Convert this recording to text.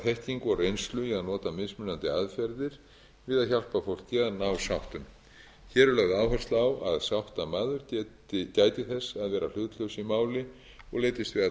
þekkingu og reynslu í að nota mismunandi aðferðir við að hjálpa fólki við að ná sáttum hér er lögð áhersla á að sáttamaður gæti þess að vera hlutlaus í máli og leitist